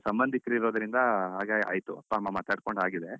ಸಂಬಂಧಿಕರಿರೋದ್ರಿಂದ ಹಾಗೆ ಆಯಿತು ಅಪ್ಪ ಅಮ್ಮ ಮಾತಾಡ್ಕೊಂಡು ಆಗಿದೆ.